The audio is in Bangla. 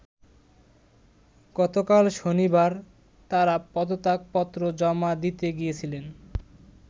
গতকাল শনিবার তারা পদত্যাগ পত্র জমা দিতে গিয়েছিলেন।